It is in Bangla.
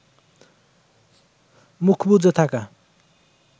মুখ বুজে থাকা